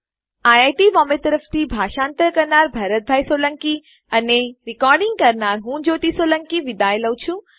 IIT Mumbai તરફથી હું ભરતભાઈ સોલંકી વિદાય લઉં છુ